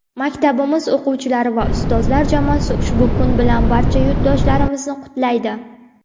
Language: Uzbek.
Maktabimiz o‘quvchilari va ustozlar jamoasi ushbu kun bilan barcha yurtdoshlarimizni qutlaydi.